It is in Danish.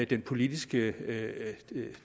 den politiske